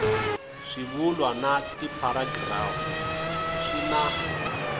swivulwa na tipharagirafu swi na